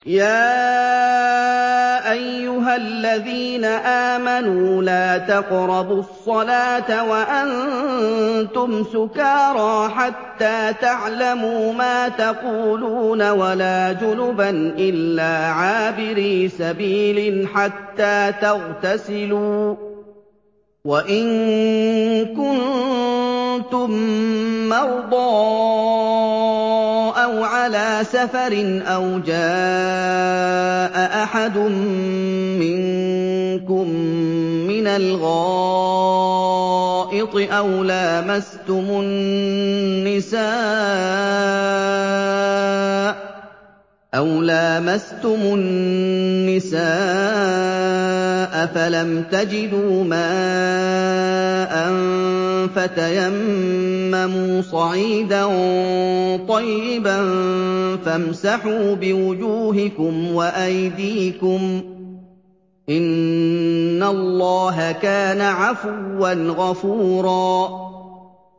يَا أَيُّهَا الَّذِينَ آمَنُوا لَا تَقْرَبُوا الصَّلَاةَ وَأَنتُمْ سُكَارَىٰ حَتَّىٰ تَعْلَمُوا مَا تَقُولُونَ وَلَا جُنُبًا إِلَّا عَابِرِي سَبِيلٍ حَتَّىٰ تَغْتَسِلُوا ۚ وَإِن كُنتُم مَّرْضَىٰ أَوْ عَلَىٰ سَفَرٍ أَوْ جَاءَ أَحَدٌ مِّنكُم مِّنَ الْغَائِطِ أَوْ لَامَسْتُمُ النِّسَاءَ فَلَمْ تَجِدُوا مَاءً فَتَيَمَّمُوا صَعِيدًا طَيِّبًا فَامْسَحُوا بِوُجُوهِكُمْ وَأَيْدِيكُمْ ۗ إِنَّ اللَّهَ كَانَ عَفُوًّا غَفُورًا